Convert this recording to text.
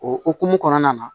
O hokumu kɔnɔna na